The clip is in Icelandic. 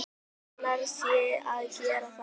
Annarra sé að gera það.